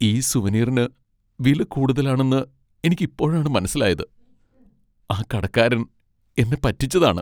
ഈ സുവനീറിന് വില കൂടുതലാണെന്ന് എനിക്ക് ഇപ്പോഴാണ് മനസ്സിലായത്, ആ കടക്കാരൻ എന്നെ പറ്റിച്ചതാണ്.